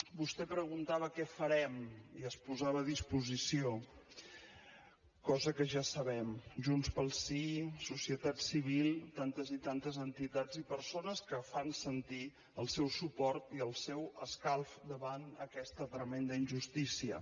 vostè preguntava què farem i es posava a disposició cosa que ja sabem junts pel sí societat civil tantes i tantes entitats i persones que fan sentir el seu suport i el seu escalf davant aquesta tremenda injustícia